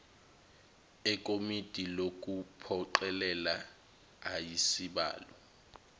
ekomidi lokuphoqelela ayisibalo